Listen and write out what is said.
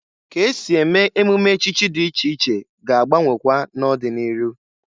Ka esi eme emume echichi dị iche iche ga-agbanwekwa n'ọdị n'iru.